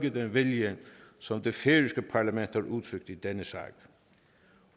vilje som det færøske parlament har udtrykt i denne sag